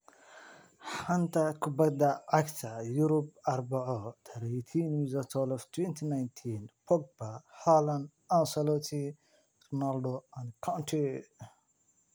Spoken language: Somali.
Xanta Kubadda Cagta Yurub Arbaco 18.12.2019: Pogba, Haaland, Ancelotti, Ronaldo, Kante